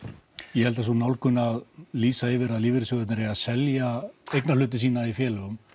ég held að sú nálgun að lýsa yfir að lífeyrissjóðir eigi að selja eignahlut sinn í félögum